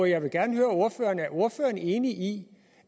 jeg vil gerne høre ordføreren er ordføreren enig